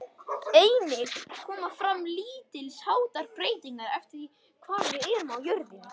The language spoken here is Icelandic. Einnig koma fram lítils háttar breytingar eftir því hvar við erum á jörðinni.